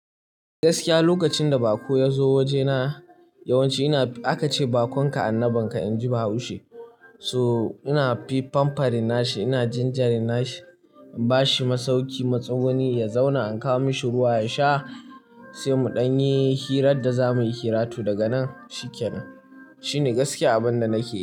Gaskiya lokacin da bako ya zo wajena yawanci ina, aka ce bakon ka annabinka, in ji Bahaushe. So ina fi pampering na shi, ina gingering na shi, in ba shi masauki, matsuguni ya zauna, in kawo mashi ruwa ya sha sai mu ɗan yi hirar da za muyi hira to daga nan shikenan. Shine gaskiya abin da nake yi.